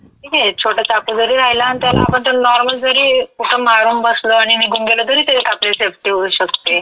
ठीक ये, छोटा चाकू जरी राहिला अन् त्याला आपण त्याला नार्मल जरी कुठं मारून बसलो आणि निघून गेलो तरी तेच्यात आपली सेफ्टी होऊ शकते.